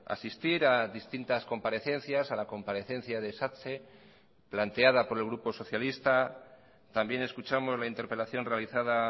asistir a distintas comparecencias a la comparecencia de satse planteada por el grupo socialista también escuchamos la interpelación realizada